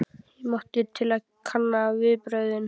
Ég mátti til að kanna viðbrögðin.